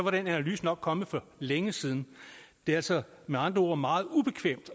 analyse nok kommet for længe siden det er altså med andre ord meget ubekvemt